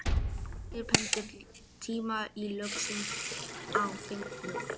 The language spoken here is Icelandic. Dís, pantaðu tíma í klippingu á fimmtudaginn.